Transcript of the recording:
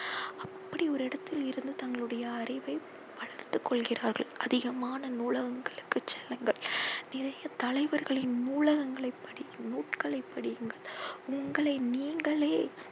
அப்படியொரு இடத்தில் இருந்து தங்களுடைய அறிவை வளர்த்து கொள்கிறார்கள். அதிகமான நூலகங்களுக்கு செல்லுங்கள். நிறைய தலைவர்களின் நூலகங்களை படி நூல்களை படியுங்கள். உங்களை நீங்களே